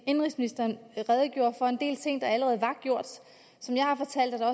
indenrigsministeren redegjorde for en del ting der allerede var gjort som jeg har fortalt er